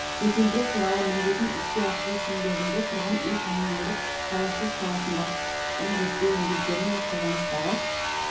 жетілдіру туралы міндетін іске асыру шеңберінде тұрғын үй-коммуналдық шаруашылық саласындағы құқықтық реттеу негіздері мен қолданыстағы